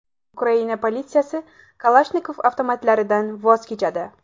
Ukraina politsiyasi Kalashnikov avtomatlaridan voz kechadi.